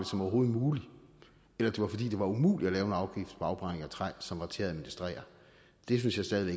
som overhovedet muligt eller det var fordi det var umuligt at lave en afgift på afbrænding af træ som var til at administrere det synes jeg stadig